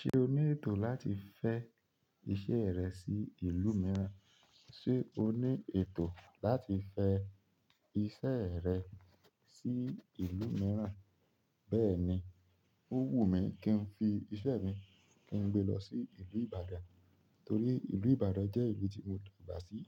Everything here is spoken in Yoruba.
Ṣé o ní ètò láti fẹ́ iṣẹ́ rẹ sí ìlú mìíràn? Ṣé o ní ètò láti fẹ́ iṣẹ́ rẹ sí ìlú mìíràn? Bẹ́ẹ̀ni, ó wù mí kí n fi ìṣe mi, kí n gbé lọ sí ìlú Ìbàdàn. Torí ìlú Ìbàdàn jẹ́ ìlú tí mo dàgbà sí,